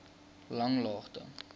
langlaagte